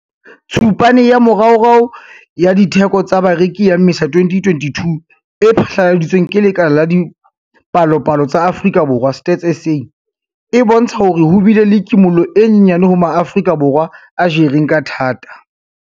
Tshupane ya moraorao ya Ditheko tsa Bareki ya Mmesa 2022 e phatlaladitsweng ke Lekala la Dipalopalo tsa Afrika Borwa, Stats SA. e bontsha hore ho bile le kimollo e nyenyane ho Maafrika Borwa a jereng ka thata.